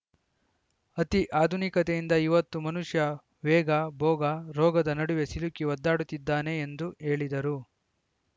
ಅತಿ ಆಧುನಿಕತೆಯಿಂದ ಇವತ್ತು ಮನುಷ್ಯ ವೇಗ ಭೋಗ ರೋಗದ ನಡುವೆ ಸಿಲುಕಿ ಒದ್ದಾಡುತ್ತಿದ್ದಾನೆ ಎಂದು ಹೇಳಿದರು